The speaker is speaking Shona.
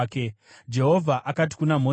Jehovha akati kuna Mozisi,